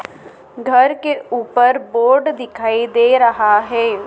घर के ऊपर बोर्ड दिखाई दे रहा है।